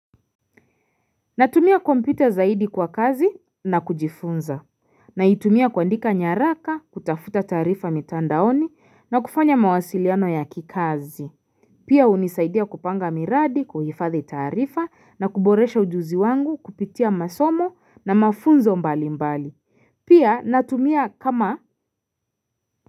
Natumia kompyuta zaidi kwa kazi na kujifunza naitumia kuandika nyaraka kutafuta taarifa mitandaoni na kufanya mawasiliano ya kikazi Pia unisaidia kupanga miradi kuhifadhi taarifa na kuboresha ujuzi wangu kupitia masomo na mafunzo mbalimbali Pia natumia kama.